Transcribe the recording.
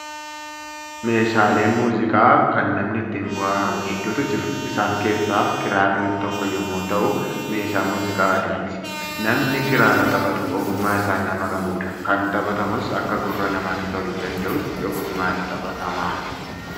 Meeshaaleen muuziqaa kan namni ittiin bohaaru hedduutu jiru. Isaan keessaa kiraarri tokko yommuu ta'u, meeshaa muuziqaa aadaati. Namni kiraara taphatu ogummaa isaa nama qabudha. Kan taphatamus akka gurra namaatti toluu danda'utti ogummaan taphatama.